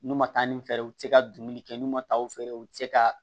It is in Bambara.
N'u ma taa ni fɛrɛ ye u te se ka dumuni kɛ n'u ma taa u fɛɛrɛ u te se ka